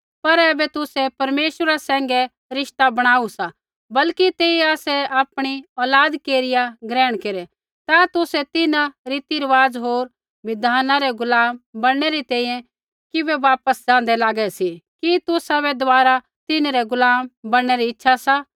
पर ऐबै तुसै परमेश्वरा सैंघै रिश्ता बणाऊ सा बल्कि तेइयै आसै आपणी औलाद केरिया ग्रहण केरै ता तुसै तिन्हां रीतिरुआज़ होर बिधाना रै गुलाम बणनै री तैंईंयैं किबै वापस जाँदै लागै सी कि तुसाबै दबारा तिन्हरै गुलाम बणनै री इच्छा सा